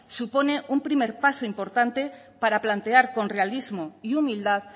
supone un primer paso importante para plantear con realismo y humildad